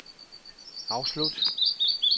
afslut